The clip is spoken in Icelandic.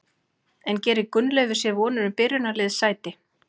En gerir Gunnleifur sér vonir um byrjunarliðssæti?